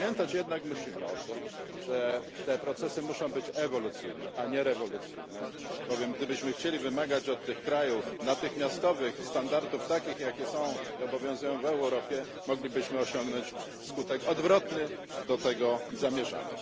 Musimy jednak pamiętać o tym, że te procesy muszą być ewolucyjne, a nie rewolucyjne, bowiem gdybyśmy chcieli wymagać od tych krajów natychmiastowych standardów, takich jakie obowiązują w Europie, moglibyśmy osiągnąć skutek odwrotny do zamierzonego.